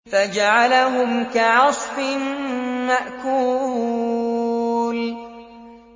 فَجَعَلَهُمْ كَعَصْفٍ مَّأْكُولٍ